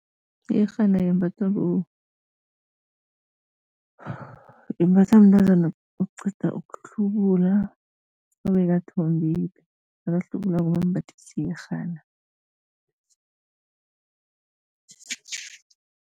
Iyerhana yembathwa imbathwa mntazana oqeda ukuhlubula, obekathombile, nakahlubulako bambathisa iyerhana.